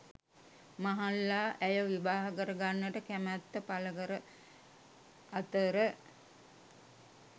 මහල්ලා ඇය විවාහ කරගන්නට කැමත්ත පළකර අතර